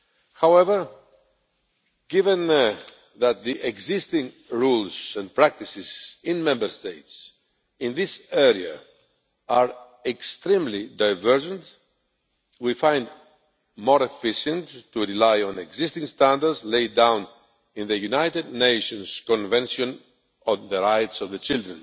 However, given that the existing rules and practices in Member States in this area are extremely divergent, we find it more efficient to rely on existing standards laid down in the United Nations Convention on the Rights of the Child,